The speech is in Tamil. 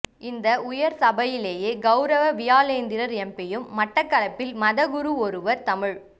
இந்த உயர் சபையிலே கௌரவ வியாளேந்திரன் எம் பியும் மட்டக்களப்பில் மத குரு ஒருவர் தமிழ்